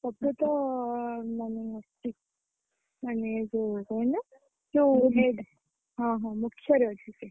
ସବ୍ୟତ ମାନେ ମାନେ ଯୋଉ କଣ ସେଇଟା ଯୋଉ ହଁ ହଁ ଅଛି ସେ।